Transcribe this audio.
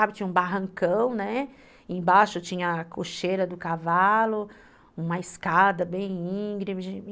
Lembro, era um barranco, tinha um barrancão, né, embaixo tinha a cocheira do cavalo, uma escada bem íngreme.